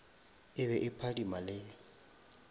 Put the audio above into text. e be e phadima le